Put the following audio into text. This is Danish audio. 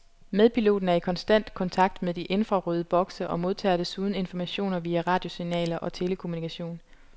Medpiloten er i konstant kontakt med de infrarøde bokse og modtager desuden informationer via radiosignaler og telekommunikation.